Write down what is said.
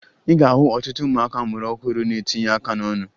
Ị ga-ahụ ọtụtụ ụmụaka a mụrụ ọhụrụ na-etinye aka n'ọnụ